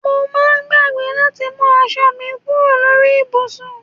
Mo máa ń gbàgbé láti mú aṣọ mi kúrò lórí ibùsùn